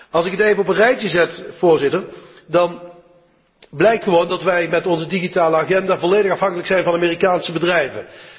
Als ik het even op een rijtje zet, dan blijkt dat wij met onze digitale agenda volledig afhankelijk zijn van Amerikaanse bedrijven.